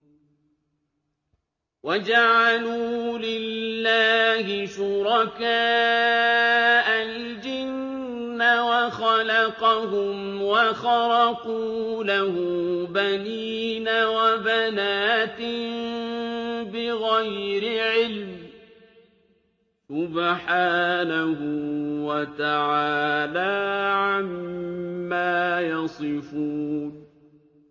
وَجَعَلُوا لِلَّهِ شُرَكَاءَ الْجِنَّ وَخَلَقَهُمْ ۖ وَخَرَقُوا لَهُ بَنِينَ وَبَنَاتٍ بِغَيْرِ عِلْمٍ ۚ سُبْحَانَهُ وَتَعَالَىٰ عَمَّا يَصِفُونَ